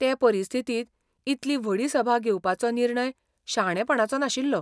ते परिस्थितींत इतली व्हडी सभा घेवपाचो निर्णय शाणेपणाचो नाशिल्लो.